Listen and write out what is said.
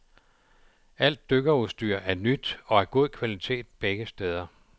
Alt dykkerudstyr er nyt og af god kvalitet begge steder.